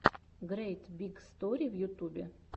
грейт биг стори в ютубе